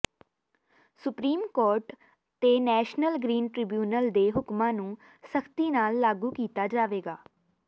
supreme court ਤੇ national green tribunal ਦੇ ਹੁਕਮਾਂ ਨੂੰ ਸਖਤੀ ਨਾਲ ਲਾਗੂ ਕੀਤਾ ਜਾਵੇਗਾ